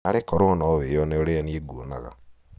narĩ korwo nowĩone ũrĩa niĩ nguonaga